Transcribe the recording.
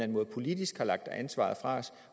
måde politisk har lagt ansvaret fra os